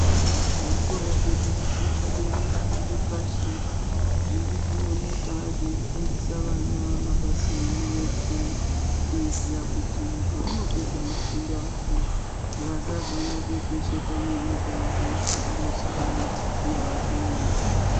Zvikora zvedu zvepadera nezvepashi zvirikuoneka zveifundisa vana mabasa emaoko. Kuitira kuti pevanopedza mafundo avo vasazonopepesheka ngenyika veitsvaka mishando yava kunesa.